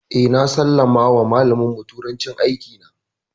Eh, na sallama wa malamin mu turanci, aiki na